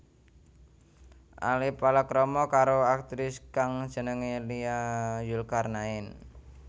Ale palakrama karo aktris kang jenengé Nia Zulkarnaen